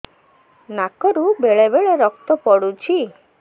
ନାକରୁ ବେଳେ ବେଳେ ରକ୍ତ ପଡୁଛି